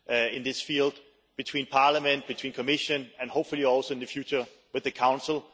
in this field between Parliament and Commission and hopefully also, in the future, with the Council.